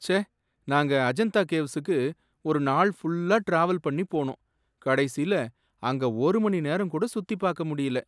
ச்சே! நாங்க அஜந்தா கேவ்ஸுக்கு ஒரு நாள் ஃபுல்லா ட்ராவல் பண்ணி போனோம், கடைசில அங்க ஒரு மணிநேரம் கூட சுத்திப் பார்க்க முடியல.